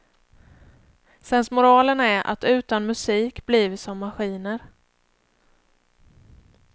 Sensmoralen är att utan musik blir vi som maskiner.